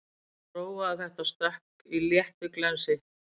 Prófaði þetta stökk í léttu glensi